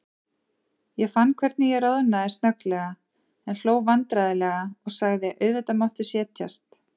Ég fann hvernig ég roðnaði snögglega, en hló vandræðalega og sagði: Auðvitað máttu setjast.